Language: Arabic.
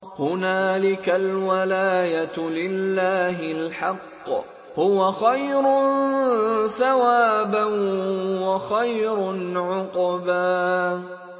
هُنَالِكَ الْوَلَايَةُ لِلَّهِ الْحَقِّ ۚ هُوَ خَيْرٌ ثَوَابًا وَخَيْرٌ عُقْبًا